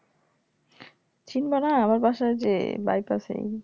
চিনবো না আমার বাসা যে Bypass এই